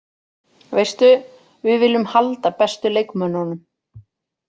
Veistu, við viljum halda bestu leikmönnunum.